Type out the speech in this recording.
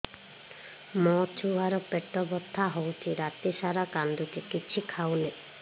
ମୋ ଛୁଆ ର ପେଟ ବଥା ହଉଚି ରାତିସାରା କାନ୍ଦୁଚି କିଛି ଖାଉନି